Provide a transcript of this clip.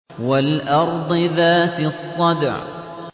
وَالْأَرْضِ ذَاتِ الصَّدْعِ